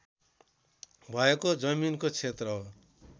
भएको जमिनको क्षेत्र हो